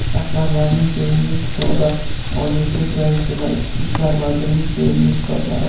"Rahbarlarning sevimli kitobi": Oliy sud raisi va Ichki ishlar vazirining sevimli kitoblari.